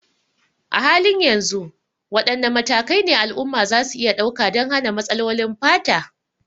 A halin yanzu, wadanne matakai ne al'umma za su iya ɗauka don hana matsalolin fata?